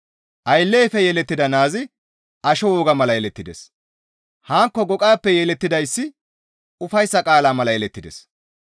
Aylleyfe yelettida naazi asho wogaa mala yelettides; hankko goqayppe yelettidayssi ufayssa qaalaa mala yelettides.